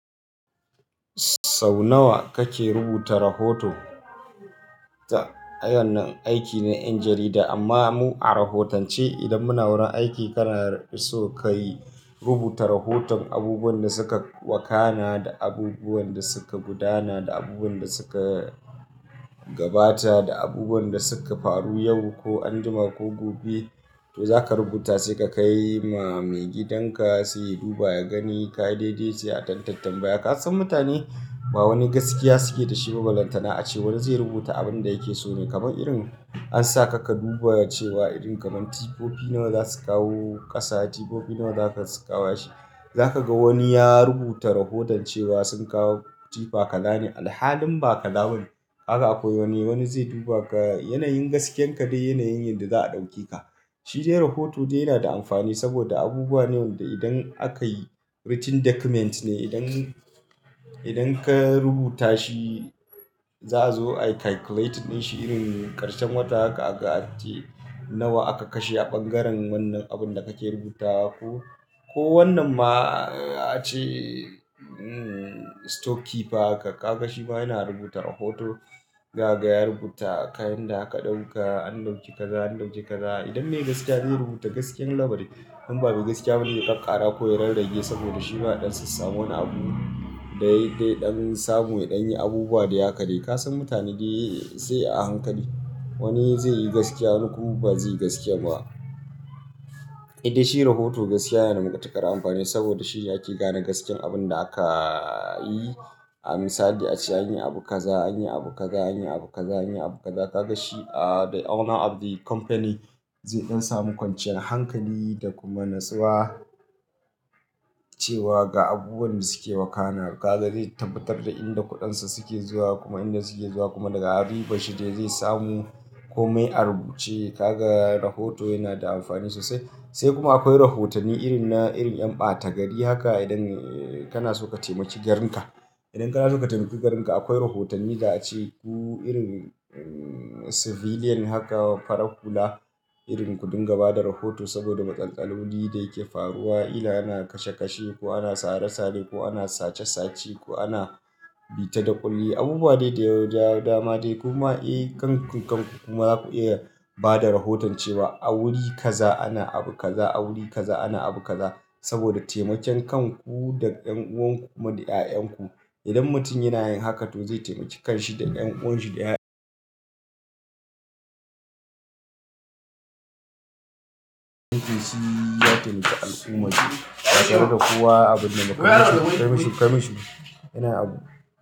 Sau nawa kake rubuta rahoto? Ta, wanan aiki na ƴan jarida amma mu a rahotance idan muna wurin aiki kana so ka yi rubuta rahoton abubuwan da suka wakana da abubuwan da suka gudana da abubuwan da suka gabata da abubuwan da suka faru yau ko anjima ko gobe to za ka rubuta sai ka kai ma maigidanka sai ya duba ya gani ka yi daidai sai a tantambaya. Ka san mutane ba wani gaskiya suke da shi ba, ba lantana ace wani zai rubuta abin da yake so ne kamar irin an sa ka ka duba cewa irin kamar tifofi nawa za su kawo ƙasa, tifofi nawa za su ƙawashi. Za ka ga wani ya rubuta rahoton cewa sun kawo tifa kalani da halin ba kala bani. Kaka akwai wani wani zai duba ga yanayin gaskiyan ka da yanayin yanda za a ɗauke ka. Shi dai rahoto dai yana da amfani saboda abubuwa ne wanda idan aka yi written document ne idan, idan ka rubuta shi za a zo a calculate ɗin shi irin ƙarshen wata aka aga a ce nawa aka kashe a ɓangaren wannan abin da kake rubuta ko, ko wannan ma a ce hmm store keeper aka ga shi ma yana rubuta rahoto. Ga gaya rubuta kayan da aka ɗauka an ɗauki kaza an ɗauki kaza. Idan mai gaskiya zai rubuta gaskiyan labari. In babu gaskiya, ba zai ƙaƙara ko ya rarrage saboda shi ma ɗan sassan wani abu da ya yi dai ɗan samu ya ɗan yi abubuwa de haka de. Ka san mutane dai sai a hankali. Wani zai yi gaskiya wani kuma ba zai yi gaskiya ba. Idan shi rahoto gaskiya yana da matuƙar amfani saboda shi ake gane gaskiyan abin da aka yi. A misali a ce an yi abu kaza an yi abu kaza an yi abu kaza an yi abu kaza ka ga shi a the owner of the company zai ɗan samu kwanciyar hankali da kuma natsuwa cewa ga abubuwan da suke wakana. Kaza zai tabbatar da inda kuɗansa suke zuwa kuma inda suke zuwa kuma daga ribar shi dai zai samu kome a rubuce. Kaga rahoto yana da amfani sosai. Sai kuma akwai rahotanni irin na irin ƴan ɓata gari haka idan kana so ka taimaki garinka. Idan kana so ka taimaki garinka akwai rahotanni da a ce ku irin civilian haka fara hula irin kuɗinga ba da rahoto saboda matsan lolin da yake faruwa. Ina ana kashe-kashe ko ana sare-sare ko ana sace-sace ko ana bita da ƙulli. Abubuwa dai da ya da dama dai kuma, eh kanku kanku kuma za ku iya ba da rahoton cewa a wuri kaza ana abu kaza a wuri kaza ana abu kaza saboda taimaken kanku da ɗan'uwanku kuma da ƴaƴanku. Idan mutum yana yin haka to zai taimaki kanshi da ɗan'uwanshi da ƴaƴansa. Mutum shi ya taimaka al'ummarsa. Ba tare da kowa abin da makamashi, kamashi kamashi yana abu.